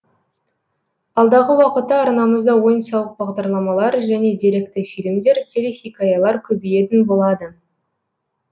алдағы уақытта арнамызда ойын сауық бағдарламалар және деректі фильмдер телехикаялар көбейетін болады